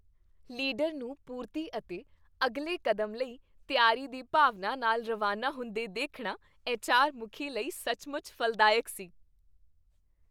Leader ਨੂੰ ਪੂਰਤੀ ਅਤੇ ਅਗਲੇ ਕਦਮ ਲਈ ਤਿਆਰੀ ਦੀ ਭਾਵਨਾ ਨਾਲ ਰਵਾਨਾ ਹੁੰਦੇ ਦੇਖਣਾ ਐੱਚਆਰ ਮੁਖੀ ਲਈ ਸੱਚਮੁੱਚ ਫ਼ਲਦਾਇਕ ਸੀ।